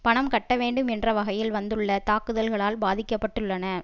பணம் கட்ட வேண்டும் என்ற வகையில் வந்துள்ள தாக்குதல்களால் பாதிக்க பட்டுள்ளன